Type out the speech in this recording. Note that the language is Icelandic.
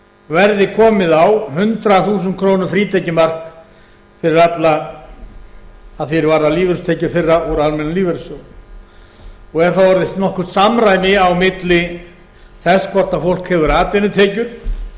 verði komið á hundrað þúsund króna frítekjumark fyrir alla að því er varðar lífeyristekjur þeirra úr almennum lífeyrissjóðum og er þá orðið nokkuð samræmi milli þess hvort fólk hefur atvinnutekjur